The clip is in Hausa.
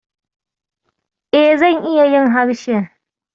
E, zan iya yin harshen.